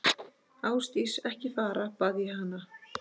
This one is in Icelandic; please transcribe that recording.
Ásdís, ekki fara, bað ég hana.